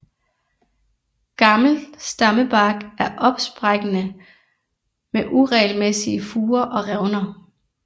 Gammel stammebark er opsprækkende med uregelmæssige furer og revner